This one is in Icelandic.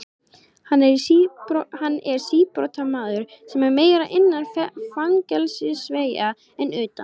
Hann er síbrotamaður sem er meira innan fangelsisveggja en utan.